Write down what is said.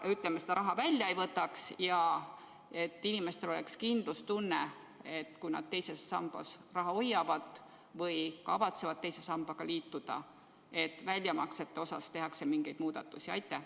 et inimestel oleks kindlustunne, et kui nad II sambas raha hoiavad või kavatsevad selle sambaga liituda, siis väljamaksetes tehakse mingeid muudatusi?